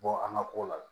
Bɔ an ka ko la